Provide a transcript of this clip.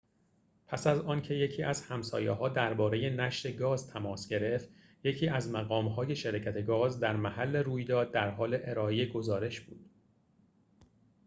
پس از آنکه یکی از همسایه‌ها درباره نشت گاز تماس گرفت یکی از مقام‌های شرکت گاز در محل رویداد در حال ارائه گزارش بود